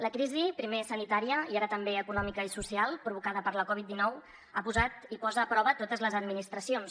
la crisi primer sanitària i ara també econòmica i social provocada per la covid dinou ha posat i posa a prova totes les administracions